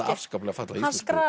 afskaplega fallega